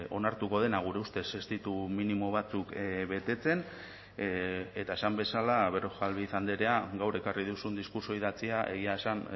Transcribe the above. onartuko dena gure ustez ez ditugu minimo batzuk betetzen eta esan bezala berrojalbiz andrea gaur ekarri duzun diskurtso idatzia egia esan